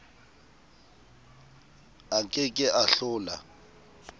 a ke ke a hlola